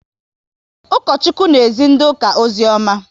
Ukochukwu na ezi ndị ụka ozioma